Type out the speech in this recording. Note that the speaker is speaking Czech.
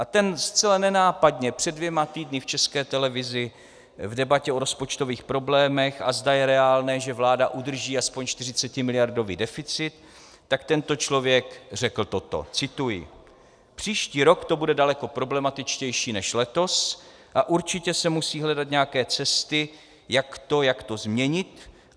A ten zcela nenápadně před dvěma týdny v České televizi v debatě o rozpočtových problémech, a zda je reálné, že vláda udrží aspoň 40miliardový deficit, tak tento člověk řekl toto - cituji: "Příští rok to bude daleko problematičtější než letos a určitě se musí hledat nějaké cesty, jak to změnit.